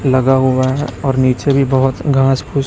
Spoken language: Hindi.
लगा हुआ है और नीचे भी बहोत घास फूस--